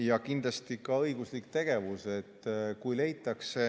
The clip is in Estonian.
Ja kindlasti ka õiguslik tegevus.